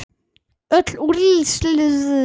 Öll úrslit annars dags